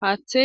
hate.